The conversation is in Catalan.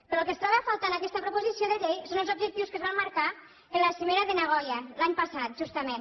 però el que es troba a faltar en aquesta proposició de llei són els objectius que es van marcar en la cimera de nagoya l’any passat justament